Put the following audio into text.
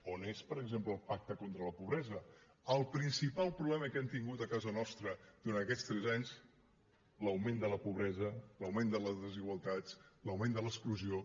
on és per exemple el pacte contra la pobresa el principal problema que hem tingut a casa nostra durant aquests tres anys l’augment de la pobresa l’augment de les desigualtats l’augment de l’exclusió